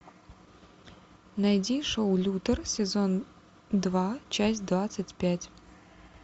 найди шоу лютер сезон два часть двадцать пять